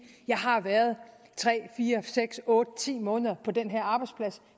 jeg har været tre fire seks otte ti måneder på den her arbejdsplads